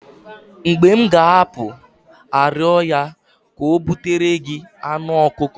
mgbe m ga-apụ arịọ ya ka o butere gị anụ ọkụkọ